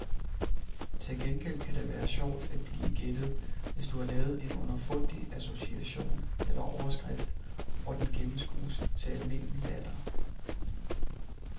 Til gengæld kan det være sjovt at blive gættet, hvis du har lavet en underfundig association eller overskrift, og den gennemskues til almindelig latter.